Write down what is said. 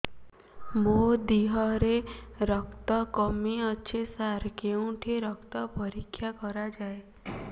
ମୋ ଦିହରେ ରକ୍ତ କମି ଅଛି ସାର କେଉଁଠି ରକ୍ତ ପରୀକ୍ଷା କରାଯାଏ